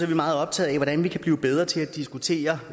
vi meget optaget af hvordan vi kan blive bedre til at diskutere